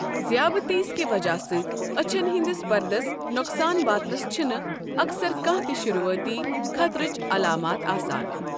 ضِیابطیس کہِ وجہ سۭتۍ أچھن ہِنٛدِس پردس نۄقصان واتنس چھِنہٕ اکثر کانٛہہ تہِ شُروعٲتی خطرٕچ علامات آسان ۔